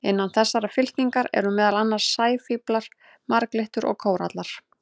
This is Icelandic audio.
Innan þessarar fylkingar eru meðal annars sæfíflar, marglyttur og kórallar.